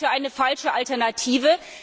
Ich halte das für eine falsche Alternative.